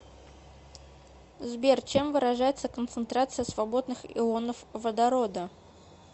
сбер чем выражается концентрация свободных ионов водорода